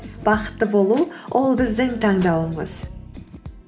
бақытты болу ол біздің таңдауымыз